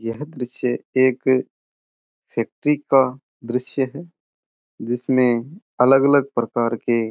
यह दृश्य एक फैक्ट्री का दृश्य है जिसमे अलग अलग प्रकार के --